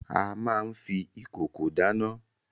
A máa n fi ìkòkò dáná.